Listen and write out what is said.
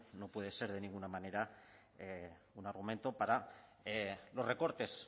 no puede ser de ninguna manera un argumento para los recortes